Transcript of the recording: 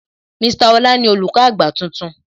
Mr Ọlá ni Olùkọ́ àgbà tuntun